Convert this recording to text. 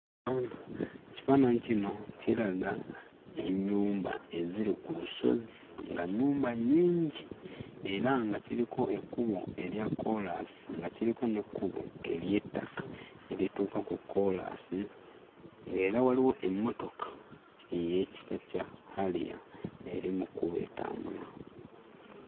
Ekifaananyi kino kiraga ennyumba eziri ku lusozi nga nnyumba nnyingi era nga kiriko ekkubo erya koolaasi nga kiriko n'ekkubo ery'ettaka erituuka ku koolaasi ng'era waliwo emmotoka ey'ekika kya 'Harrier' eri mu kkubo etambula.